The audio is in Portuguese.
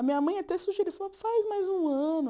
A minha mãe até sugeriu, falou, faz mais um ano.